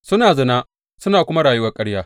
Suna zina suna kuma rayuwar ƙarya.